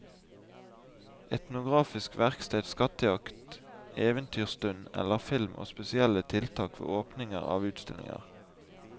Etnografisk verksted, skattejakt, eventyrstund eller film og spesielle tiltak ved åpninger av utstillinger.